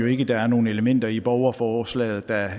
ikke der er nogen elementer i borgerforslaget der